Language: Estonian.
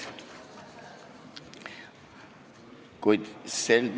Vabandust!